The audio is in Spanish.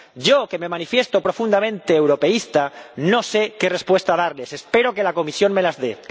Yo, que me manifiesto profundamente europeísta, no sé qué respuesta darles. Espero que la Comisión me las dé.